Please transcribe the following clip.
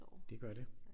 Det gør det